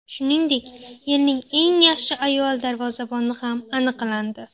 Shuningdek, yilning eng yaxshi ayol darvozaboni ham aniqlandi.